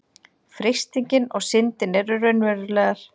freistingin og syndin eru raunverulegar